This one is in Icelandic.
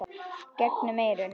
gegnum eyrun.